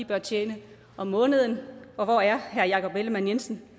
bør tjene om måneden og hvor er herre jakob ellemann jensen